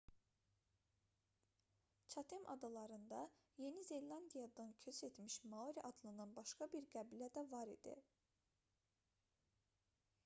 çatem adalarında yeni zelandiyadan köç etmiş maori adlanan başqa bir qəbilə də var idi